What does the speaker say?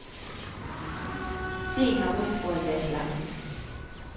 Theen har ry for at være slankende.